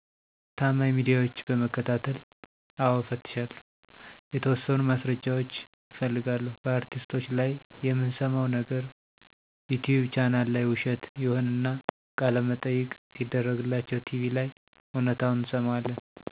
ታማኝ ሚዲያዎች በመከታተል። አዎ እፈትሻለሁ። የተወሠኑ ማስረጃዎች እፈልጋለሁ። በአርቲስቶች ላይ የምንሠማው ነገር ዩቲቭ ቻናል ላይ ውሸት ይሆንና፤ ቃለመጠየቅ ሲደረግላቸው ቲቪ ላይ እውነታውን እንሠማዋለን።